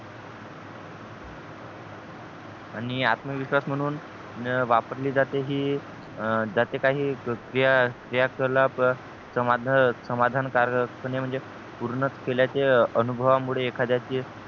आणि आत्मविश्वास म्हणून वापरली जाते हि जाते काही क्रिया समाधान कारक म्हणजे पूर्ण केल्याचे अनुभवा मुळे एखाद्याचे